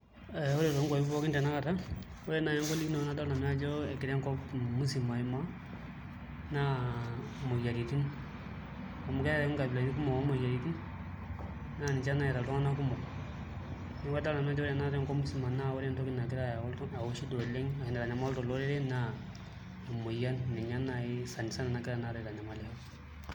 Ee ore toonkwapi pookin tanakata ore naai engolikinoto nadolta nanu ajo egira enkop msima aimaa naa imoyiaritin amu keetai nkabilatin kumok oomoyiaritin naa ninche nayaita iltung'anak kumok, neeku adolta nanu ajo ore tanakata tenkop msima naa ore entoki nagira ayau shida oleng' ashu naitanyamalita olorere naa emoyian ninye naai sana sana nagira tanakata aitanyamalisho.